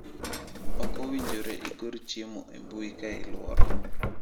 "Ok owinjore igor chiemo e mbui ka iluoro."""